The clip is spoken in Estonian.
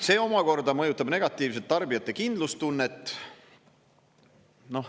See omakorda mõjutab negatiivselt tarbijate kindlustunnet.